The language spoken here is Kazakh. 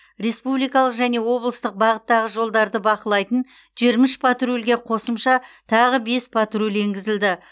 республикалық және облыстық бағыттағы жолдарды бақылайтын жиырма үш патрульге қосымша тағы бес патруль енгізілді